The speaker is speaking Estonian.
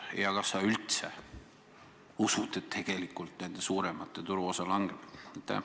Ja kas sa üldse usud, et tegelikult nende suuremate turuosa langeb?